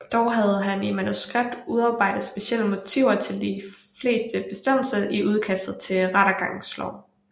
Dog havde han i manuskript udarbejdet specielle motiver til de fleste bestemmelser i udkastet til rettergangslov